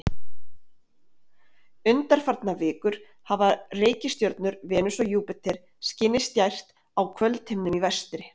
Undanfarnar vikur hafa reikistjörnurnar Venus og Júpíter skinið skært á kvöldhimninum í vestri.